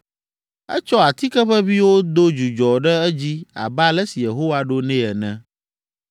Etsɔ atike ʋeʋĩwo do dzudzɔ ɖe edzi abe ale si Yehowa ɖo nɛ ene.